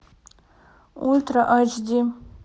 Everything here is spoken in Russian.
ультра айч ди